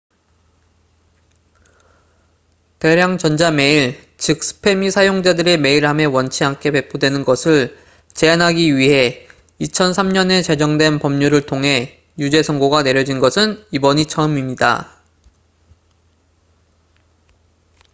대량 전자 메일 즉 스팸이 사용자들의 메일함에 원치 않게 배포되는 것을 제한하기 위해 2003년에 제정된 법률을 통해 유죄 선고가 내려진 것은 이번이 처음입니다